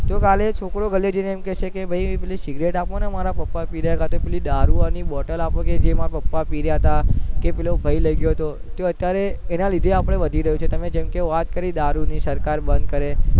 તો કાલે છોકરો ગલે જઈને એમ કેસે પેલી સિગરેટ આપોને મારાં પાપા પી રેહ્યા હતા કાતો પેલી દારૂ ની બોટલ અપો ને જે માર પાપા પી રહ્યા હતા કે પેલો ભાઈ લઇ ગયો હતો તો અત્યારે તેના લીધે આપણું વધી રહ્યું છે જે કે તમે વાત કરીદારૂ ની કે સરકાર બંધ કરે